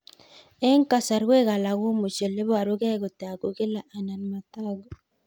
Eng' kasarwek alak komuchi ole parukei kotag'u kila anan matag'u